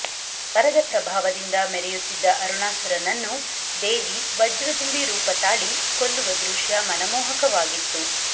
ವರದ ಪ್ರಭಾವದಿಂದ ಮೆರೆಯುತ್ತಿದ್ದ ಅರುಣಾಸುರನನ್ನು ದೇವಿ ವಜ್ರದುಂಬಿ ರೂಪ ತಾಳಿ ಕೊಲ್ಲುವ ದೃಶ್ಯ ಮನಮೋಹಕವಾಗಿತ್ತು